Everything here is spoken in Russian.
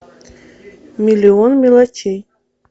миллион мелочей